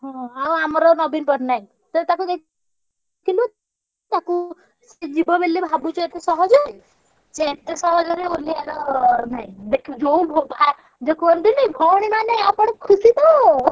ହଁ ଆମର ନବୀନ ପଟ୍ଟନାୟକ ସେ ତାକୁ ଦେଖିଲୁ ତାକୁ ସିଏ ଯିବ ବୋଲି ଭାବୁଛୁ ଏତେ ସହଜ ରେ? ସିଏ ଏତେ ସହଜ ରେ ଓଲ୍ହେଇବାର ନାହିଁ ଦେଖିବୁ ଯୋଉ vote ଯୋଉ କୁହନ୍ତିନି ଭଉଣୀ ମାନେ ଆପଣ ଖୁସି ତ।